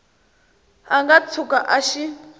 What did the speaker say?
a nga tshuka a xi